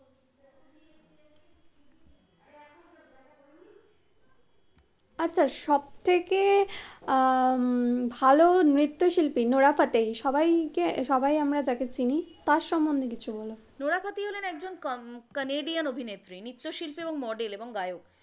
আচ্ছা সব থেকে ভালো নৃত্যশিল্পী নরহা ফতেহী, সবাইকে সবাই আমরা তাকে চিনি, তার সম্বন্ধে কিছু বলো? নরহা ফতেহী হলেন একজন কানেডিয়ান অভিনেত্রী, নৃত্যশিল্পী এবং model এবং গায়ক।